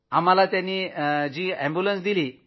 आम्हाला त्यांनी रूग्णवाहिका दिली